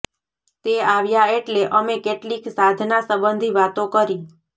તે આવ્યા એટલે અમે કેટલીક સાધના સંબંધી વાતો કરી